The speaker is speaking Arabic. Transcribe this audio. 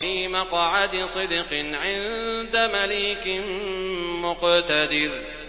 فِي مَقْعَدِ صِدْقٍ عِندَ مَلِيكٍ مُّقْتَدِرٍ